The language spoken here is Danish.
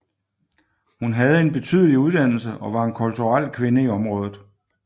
Hun havde en betydelig uddannelse og var en kulturel kvinde i området